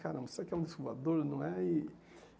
Caramba, isso aqui é um, não é? E